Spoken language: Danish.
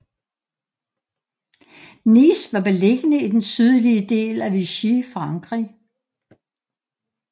Nice var beliggende i den sydlige del af Vichy Frankrig